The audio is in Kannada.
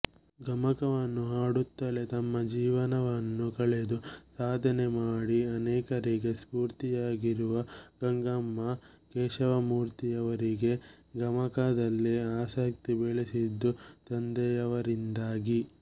ಗಮಕವನ್ನು ಹಾಡುತ್ತಲೇ ತಮ್ಮ ಜೀವನವನ್ನು ಕಳೆದು ಸಾಧನೆ ಮಾಡಿ ಅನೇಕರಿಗೆ ಸ್ಫೂರ್ತಿಯಾಗಿರುವ ಗಂಗಮ್ಮ ಕೇಶವಮೂರ್ತಿಯವರಿಗೆ ಗಮಕದಲ್ಲಿ ಆಸಕ್ತಿ ಬೆಳೆದಿದ್ದು ತಂದೆಯವರಿಂದಾಗಿ